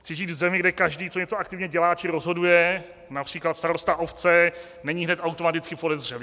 Chci žít v zemi, kde každý, co něco aktivně dělá, či rozhoduje, například starosta obce, není hned automaticky podezřelý.